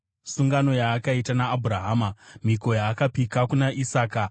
sungano yaakaita naAbhurahama, mhiko yaakapika kuna Isaka.